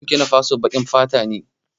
Yan Burkinafaso baƙar fata ne